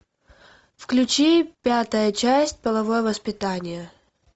включи пятая часть половое воспитание